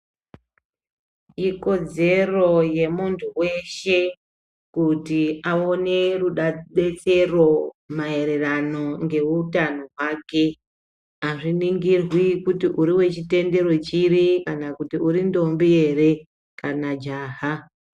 Ikodzero yemuntu weshe kuti awone rudetsero maererano ngeutano hwako. Azvinigirwi kuti uri wechitendero chiri kana kuti uri ndombi ere kana jaha.